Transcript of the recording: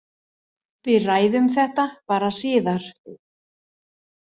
Við ræðum þetta bara síðar.